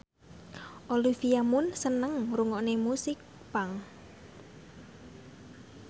Olivia Munn seneng ngrungokne musik punk